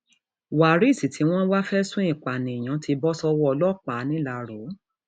waris tí wọn ń wọn ń wá fẹsùn ìpànìyàn ti bọ sọwọ ọlọpàá ńìlárò